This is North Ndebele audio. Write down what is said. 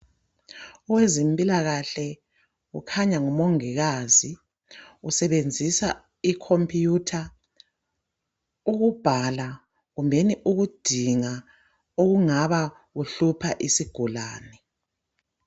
Owezempilakahle kukhanya ngumongikazi usebenzisa ikhompiyutha ukubhala kumbe ukudinga okungabe kuhlupha isigulane.